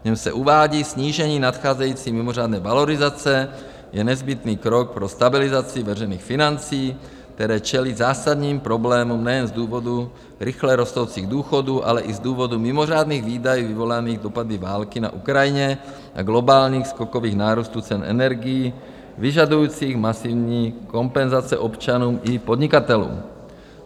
V něm se uvádí: Snížení nadcházející mimořádné valorizace je nezbytný krok pro stabilizaci veřejných financí, které čelí zásadním problémům nejen z důvodu rychle rostoucích důchodů, ale i z důvodu mimořádných výdajů vyvolaných dopady války na Ukrajině a globálních skokových nárůstů cen energií, vyžadujících masivní kompenzace občanům i podnikatelům.